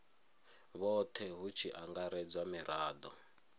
vhothe hu tshi angaredzwa mirado